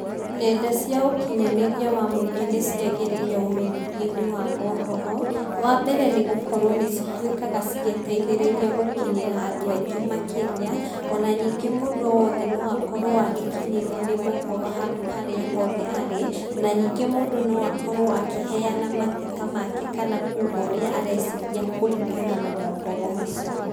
Nenda cia ũkinyanĩria wa mũingĩ nĩciagĩrĩire ũmenyithia-inĩ wa mohoro, wambere nĩgũkorwo nĩcitwĩkaga cigĩteithĩrĩria gũkinyira andũ aingĩ makĩria onaningĩ mũndũ wothe nowakorwo agĩkinyĩrwo nĩ mohoro handũ harĩa hothe arĩ na ningĩ mũndũ noakorwo akĩheana mateta make kana kũga ũrĩa areciria kũringana na mohoro macio.